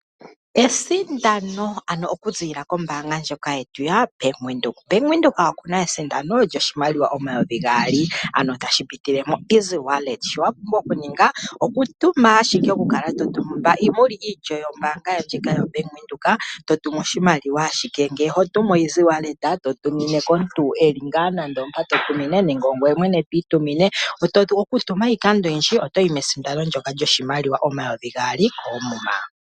Esindano, okuziilila kombaanga yetu yaBank Windhoek. Bank Windhoek oku na esindano lyoshimaliwa N$ 2000 tashi pitile momukalo gokutuma oshimaliwa kongodhi. Shoka wa pumbwa okuninga onga omulongithi gombaanga ndjika, okutuma oshimaliwa kongodhi to tumine omuntu e li mpoka e li nenge ongoye mwene to itumine. Okutuma lwiikando oyindji oto yi mesinano lyoshimaliwa N$ 2000 koomuma.